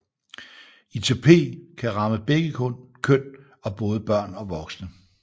ITP kan ramme begge køn og både børn og voksne